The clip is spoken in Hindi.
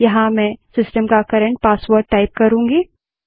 यहाँ मैं सिस्टम का कर्रेंट पासवर्ड टाइप करूँगी